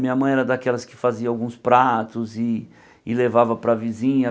Minha mãe era daquelas que fazia alguns pratos e e levava para a vizinha.